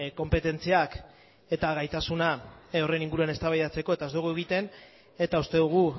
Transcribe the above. konpetentziak eta gaitasuna horren inguruan eztabaidatzeko eta ez dugu egiten eta uste dugu